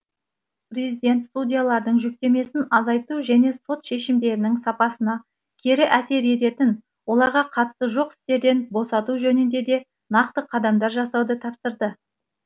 президент судьялардың жүктемесін азайту және сот шешімдерінің сапасына кері әсер ететін оларға қатысы жоқ істерден босату жөнінде де нақты қадамдар жасауды тапсырды